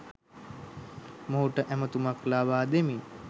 මොහුට ඇමතුමක් ලබා දෙමින්